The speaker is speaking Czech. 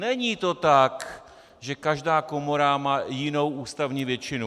Není to tak, že každá komora má jinou ústavní většinu.